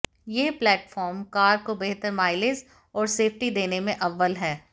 यह platform car को बेहतर माइलेज और सेफ्टी देने में अव्वल है